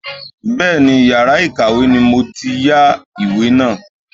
Bẹ́ẹ̀ni, yàrá ìkàwé ni mo ti yá ìwé náà.